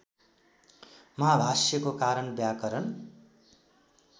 महाभाष्यको कारण व्याकरण